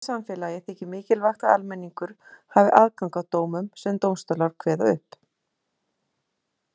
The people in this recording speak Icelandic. Í lýðræðissamfélagi þykir mikilvægt að almenningur hafi aðgang að dómum sem dómstólar kveða upp.